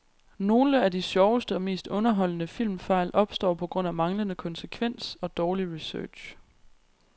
Nogle af de sjoveste og mest underholdende filmfejl opstår på grund af manglende konsekvens og dårlig research.